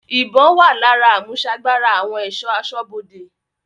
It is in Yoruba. Ìbọn-ọ́n wà lára àmúsagbára àwọn ẹ̀ṣọ́ aṣọ́bodè.